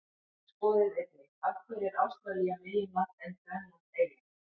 Skoðið einnig: Af hverju er Ástralía meginland en Grænland eyja?